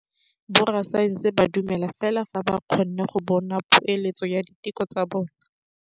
Borra saense ba dumela fela fa ba kgonne go bona poeletsô ya diteko tsa bone.